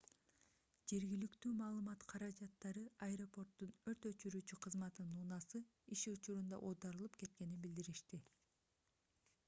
жергиликтүү маалымат каражаттары аэропорттун өрт өчүрүүчү кызматынын унаасы иш учурунда оодарылып кеткенин билдиришти